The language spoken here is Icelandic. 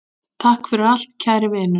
Takk fyrir allt, kæri vinur.